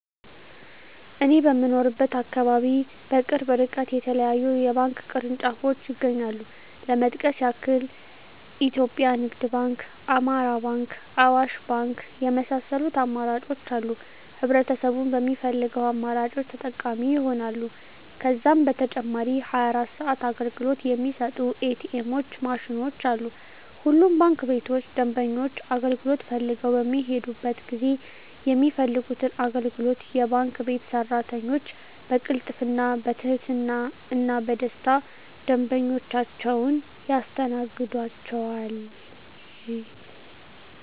እኔ በምኖርበት አካባቢ በቅርብ እርቀት የተለያዩ የባንክ ቅርንጫፎች ይገኛሉ ለመጥቀስ ያክል ኢትዮጵያ ንግድ ባንክ፣ አማራ ባንክ፣ አዋሽ ባንክ የመሳሰሉት አማራጮች አሉ ህብረተሰቡም በሚፈልገው አማራጮች ተጠቃሚ ይሆናሉ። ከዛም በተጨማሪ 24 ሰዓት አገልግሎት የሚሰጡ ኢ.ቲ. ኤምዎች ማሽኖችም አሉ። ሁሉም ባንክ ቤቶች ደንበኞች አገልግሎት ፈልገው በሚሔዱበት ጊዜ የሚፈልጉትን አገልግሎት የባንክ ቤት ሰራተኞች በቅልጥፍና፣ በትህትና እና በደስታና ደንበኞቻቸውን ያስተናግዷቸዋል! ዠ።